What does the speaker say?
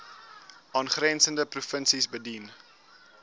aangrensende provinsies bedien